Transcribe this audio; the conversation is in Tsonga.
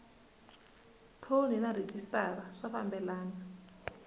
thoni na rhejisitara swi fambelena